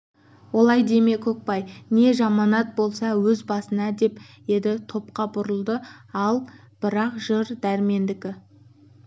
олай деме көкбай не жаманат болса өз басына деп енді топқа бұрылды ал бірақ жыр дәрмендікі